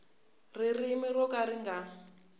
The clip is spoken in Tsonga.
ririmi ro ka ri nga